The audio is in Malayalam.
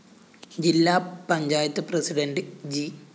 ജില്ലാ പഞ്ചായത്ത് പ്രസിഡന്റ് ജി